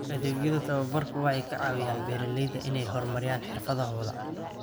Adeegyada tababarku waxay ka caawiyaan beeralayda inay horumariyaan xirfadahooda.